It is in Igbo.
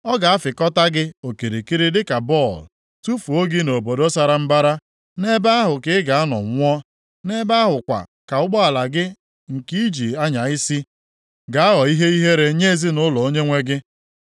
Ọ ga-afịkọta gị okirikiri dịka bọlụ, tufuo gị nʼobodo sara mbara. Nʼebe ahụ ka ị ga-anọ nwụọ, nʼebe ahụ kwa ka ụgbọala gị nke i ji anya isi ga-aghọ ihe ihere nye ezinaụlọ onyenwe gị.